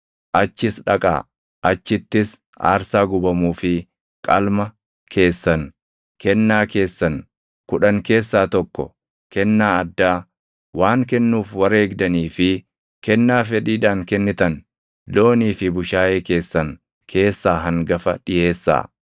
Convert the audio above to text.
achittis aarsaa gubamuu fi qalma keessan, kennaa keessan kudhan keessaa tokko, kennaa addaa, waan kennuuf wareegdanii fi kennaa fedhiidhaan kennitan, loonii fi bushaayee keessan keessaa hangafa dhiʼeessaa.